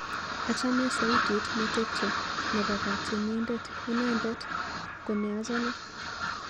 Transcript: Achame sautit netepche nebo katyenindet, inendet ko ne achame.